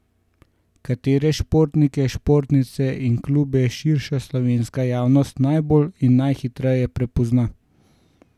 Katere športnike, športnice in klube širša slovenska javnost najbolj in najhitreje prepozna?